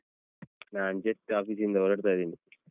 ನಾನ್ just office ಇಂದ ಹೊರಡ್ತ ಇದ್ದೀನಿ.